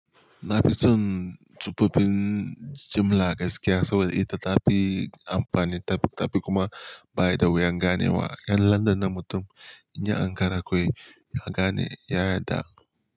Na fi tson tufafin jimla gaskiya saboda ita ta fi amfani, ta fi kuma bayar da wuyan ganewa. Yan landan na mutum, in ya ankara kawai, ya gane ya yarda.